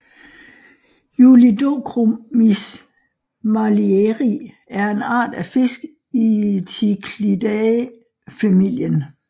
Julidochromis marlieri er en art af fisk i Cichlidae familien